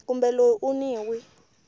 kumbe loyi u n wi